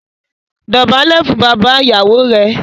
Dọ̀bálẹ̀ fún bàbá ìyàwó rẹ!